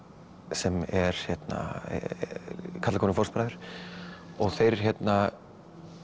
sem er herna karlakórinn fóstbræður og þeir hérna